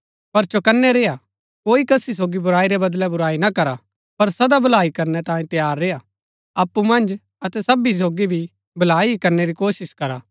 पर चौकनै रेय्आ कोई कसी सोगी बुराई रै बदलै बुराई ना करा पर सदा भलाई करनै तांयें तैयार रेय्आ अप्पु मन्ज अतै सबी सोगी भी भलाई ही करनै री कोशिश करा